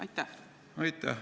Aitäh!